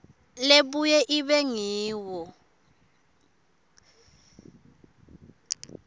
lebuye ibe ngiyo